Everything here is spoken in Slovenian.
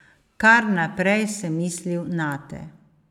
Kar naprej sem mislil nate.